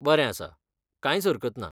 बरें आसा, कांयच हरकत ना.